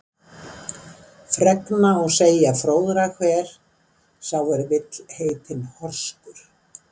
Fregna og segja skal fróðra hver, sá er vill heitinn horskur.